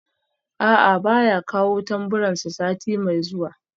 A'a baya kawo tamburansa sati mai zuwa